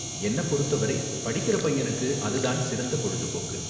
என்ன பொறுத்தவரை படிக்குற பையனுக்கு, அது தான் சிறந்த பொழுதுபோக்கு.